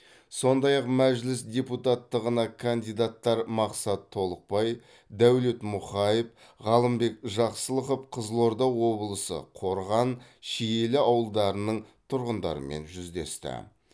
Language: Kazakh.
сондай ақ мәжіліс депутаттығына кандидаттар мақсат толықбай дәулет мұқаев ғалымбек жақсылықов қызылорда облысы қорған шиелі ауылдарының тұрғындарымен жүздесті